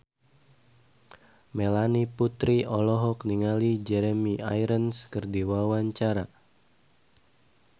Melanie Putri olohok ningali Jeremy Irons keur diwawancara